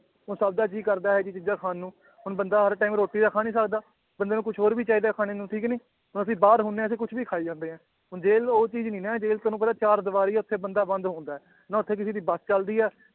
ਉਹ ਸਭ ਦਾ ਜੀਅ ਕਰਦਾ ਇਹ ਜਿਹੀ ਚੀਜ਼ਾਂ ਖਾਣ ਨੂੰ ਹੁਣ ਬੰਦਾ ਹਰ time ਰੋਟੀ ਤਾਂ ਖਾ ਨੀ ਸਕਦਾ ਬੰਦੇ ਨੂੰ ਕੁਛ ਹੋਰ ਵੀ ਚਾਹੀਦਾ ਹੈ ਖਾਣੇ ਨੂੰ ਠੀਕ ਨੀ, ਹੁਣ ਅਸੀਂ ਬਾਹਰ ਹੁੰਦੇ ਹਾਂ ਅਸੀਂ ਕੁਛ ਵੀ ਖਾਈ ਜਾਂਦੇ ਹਾਂ, ਹੁਣ ਜੇਲ੍ਹ ਉਹ ਚੀਜ਼ ਨੀ ਨਾ ਹੈ ਜੇਲ੍ਹ ਤੁਹਾਨੂੰ ਪਤਾ ਚਾਰ ਦੀਵਾਰੀ ਹੈ ਉੱਥੇ ਬੰਦਾ ਬੰਦ ਹੁੰਦਾ ਹੈ ਨਾ ਉੱਥੇ ਕਿਸੇ ਦੀ ਬਸ ਚੱਲਦੀ ਹੈ